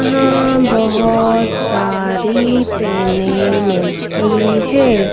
यहां बहोत सारी पेने मिलती है।